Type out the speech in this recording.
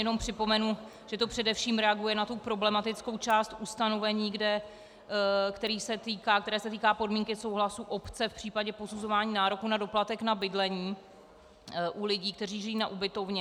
Jenom připomenu, že to především reaguje na tu problematickou část ustanovení, které se týká podmínky souhlasu obce v případě posuzování nároku na doplatek na bydlení u lidí, kteří žijí na ubytovně.